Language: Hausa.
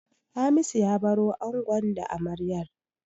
Hamisu ya baro angon da amaryar.